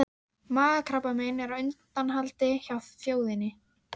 Ekkert í svip þeirra tók undir við eftirvæntinguna í þínum.